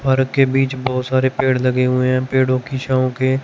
park के बीच बहोत सारे पेड़ लगे हुए हैं पेड़ों की छांव के--